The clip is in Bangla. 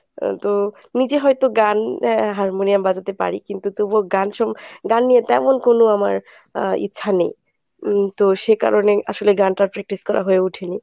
আহ তো নিজে হয়ত গান এ harmonium বাজাতে পারি তবু গান গান নিয়ে তেমন কোনো আমার আহ ইচ্ছা নেই। উম সে কারণে আসলে গানটা practice করা হয়ে উঠেনি।